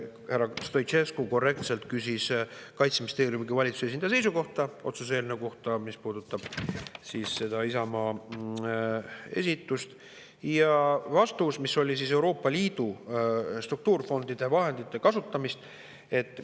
Härra Stoicescu korrektselt küsis Kaitseministeeriumi esindaja kui valitsuse esindaja seisukohta otsuse eelnõu kohta, mis puudutab seda Isamaa esitust Euroopa Liidu struktuurifondide vahendite kasutamise teemal.